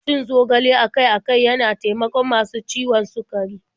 Cin zogale akai-akai yana taimakon masu ciwon sukari.